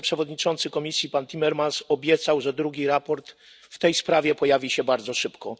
wiceprzewodniczący Komisji pan Timmermans obiecał, że drugi raport w tej sprawie pojawi się bardzo szybko.